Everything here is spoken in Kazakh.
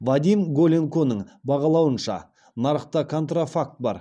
вадим голенконың бағалауынша нарықта контрафакт бар